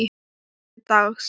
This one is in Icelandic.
Með bréfi dags.